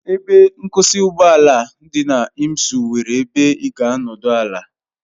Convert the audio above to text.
Ebe nkwụsị ụgbọ ala dị na Imsu nwere ebe ị ga-anọdụ ala.